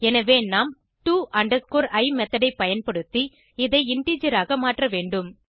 எனவே நாம்to i method ஐ பயன்படுத்தி இதை இன்டிஜர் ஆக மாற்ற வேண்டும்